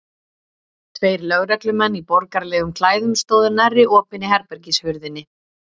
Tveir lögreglumenn í borgaralegum klæðum stóðu nærri opinni herbergishurðinni.